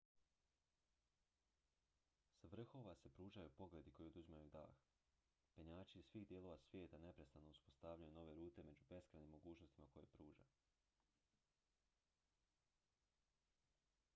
s vrhova se pružaju pogledi koji oduzimaju dah penjači iz svih dijelova svijeta neprestano uspostavljaju nove rute među beskrajnim mogućnostima koje pruža